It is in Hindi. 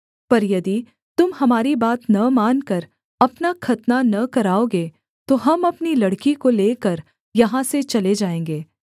पर यदि तुम हमारी बात न मानकर अपना खतना न कराओगे तो हम अपनी लड़की को लेकर यहाँ से चले जाएँगे